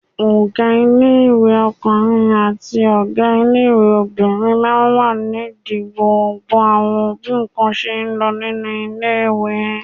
Ọgá ilé-ìwé ọkùnrin àbí ọgá ilé-ìwé obìnrin máa ń wà nídi gbogbo àwọn bí ǹkan ṣe ń lọ nínú ilé-ìwé